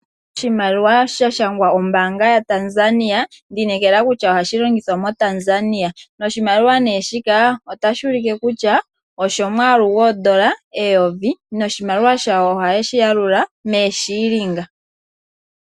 Oshimaliwa sha shangwa ombanga yaTanzania, ondi inekela kutya ohashi longithwa moTanzania. Oshimaliwa nee shika otashi ulike kutya oshomwaalu gwoondola eyovi, noshimaliwa shawo ohayeshi yalula mee shillings.